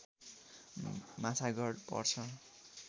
माछागढ पर्छ